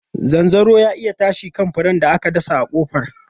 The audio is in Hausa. Zanzaro ta iya tashi kan furen da aka dasa a kofar.